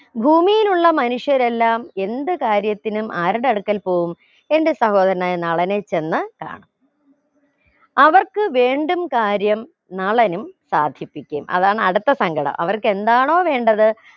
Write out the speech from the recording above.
ഭൂമിയിലുള്ള മനുഷ്യരെല്ലാം എന്ത് കാര്യത്തിനും ആരുടെ അടുക്കൽ പോകും എന്റെ സഹോദരനായ നളനെ ചെന്ന് കാണും അവർക്ക് വീണ്ടും കാര്യം നളനും സാധിപ്പിക്കും അതാണ് അടുത്ത സങ്കടം അവർക്ക് എന്താണോ വേണ്ടത്